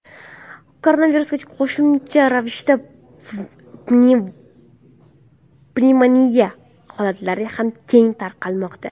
Koronavirusga qo‘shimcha ravishda pnevmoniya holatlari ham keng tarqalmoqda .